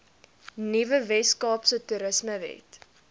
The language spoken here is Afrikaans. nuwe weskaapse toerismewet